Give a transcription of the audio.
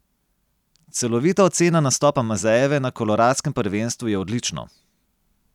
Celovita ocena nastopa Mazejeve na koloradskem prvenstvu je odlično.